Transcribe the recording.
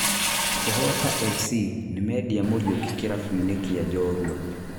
Kũhota FC nĩmendia Muriuki kĩrabũ-inĩ kia Njorua